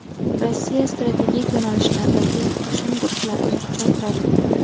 Rossiya strategik yo‘nalishlardagi qo‘shin guruhlarini kuchaytiradi.